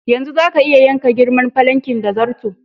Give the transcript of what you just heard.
Yanzu zaka iya yanka girman falankin da zarto.